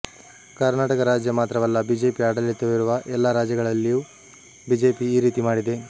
ಕರ್ನಾಟಕ ರಾಜ್ಯ ಮಾತ್ರವಲ್ಲ ಬಿಜೆಪಿ ಆಡಳಿತವಿರುವ ಎಲ್ಲಾ ರಾಜ್ಯಗಳಲ್ಲಿಯೂ ಬಿಜೆಪಿ ಈ ರೀತಿ ಮಾಡಿದೆ